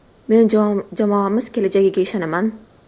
Men jamoamiz kelajagiga ishonaman”.